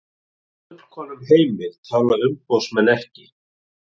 Í fullkomnum heimi tala umboðsmenn ekki